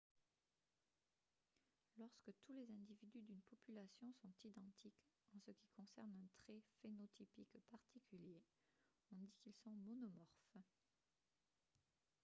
lorsque tous les individus d'une population sont identiques en ce qui concerne un trait phénotypique particulier on dit qu'ils sont monomorphes